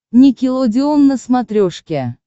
никелодеон на смотрешке